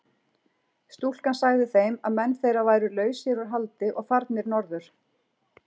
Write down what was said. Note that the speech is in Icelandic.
Stúlkan sagði þeim að menn þeirra væru lausir úr haldi og farnir norður.